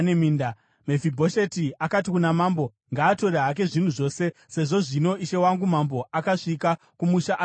Mefibhosheti akati kuna mambo, “Ngaatore hake zvinhu zvose, sezvo zvino ishe wangu mambo asvika kumusha ari mupenyu.”